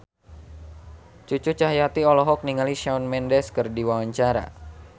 Cucu Cahyati olohok ningali Shawn Mendes keur diwawancara